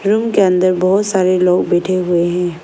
Room के अंदर बहोत सारे लोग बैठे हुए हैं।